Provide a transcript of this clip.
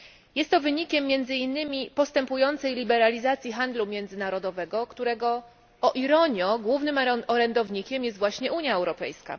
Jest to wynikiem między innymi postępującej liberalizacji handlu międzynarodowego, którego o ironio, głównym orędownikiem jest właśnie Unia Europejska.